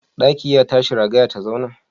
Ɗaki ya tashi ragaya ta zauna?